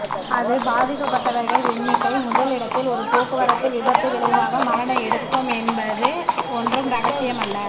அது பாதிக்கப்பட்டவர்கள் எண்ணிக்கை முதல் இடத்தில் ஒரு போக்குவரத்து விபத்து விளைவாக மரண எடுக்கும் என்பது ஒன்றும் இரகசியமல்ல